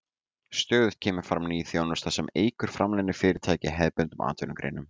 Stöðugt kemur fram ný þjónusta sem eykur framleiðni fyrirtækja í hefðbundnum atvinnugreinum.